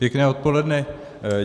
Pěkné odpoledne.